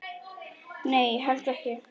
Nei, ég held ekki.